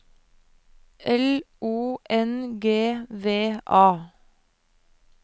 L O N G V A